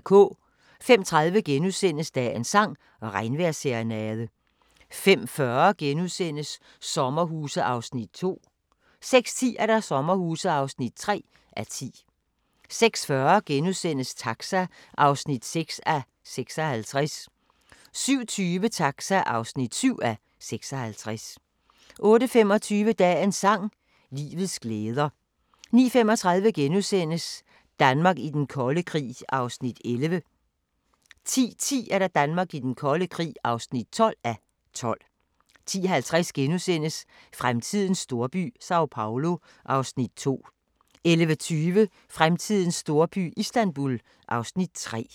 05:30: Dagens sang: Regnvejrsserenade * 05:40: Sommerhuse (2:10)* 06:10: Sommerhuse (3:10) 06:40: Taxa (6:56)* 07:20: Taxa (7:56) 08:25: Dagens sang: Livets glæder 09:35: Danmark i den kolde krig (11:12)* 10:10: Danmark i den kolde krig (12:12) 10:50: Fremtidens storby – Sao Paulo (Afs. 2)* 11:20: Fremtidens storby – Istanbul (Afs. 3)